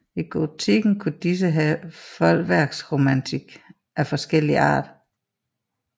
I gotikken kunne disse have foldeværksornamentik af forskellig art